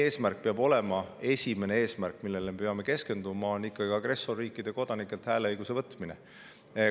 Meie esimene eesmärk, millele me peame keskenduma, on ikkagi agressorriikide kodanikelt hääleõiguse võtmine.